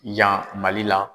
Yan Mali la.